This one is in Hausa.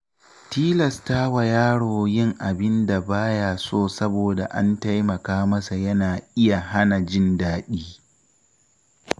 Tilastawa yaro yin abin da ba ya so saboda an taimaka masa yana iya hana jin daɗi.